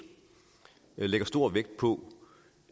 lægger stor vægt på